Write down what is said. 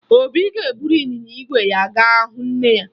Obi ga-eburu ịnyịnya ígwè ya ga hụ nne ya